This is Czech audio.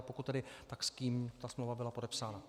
A pokud tedy, tak s kým ta smlouva byla podepsána?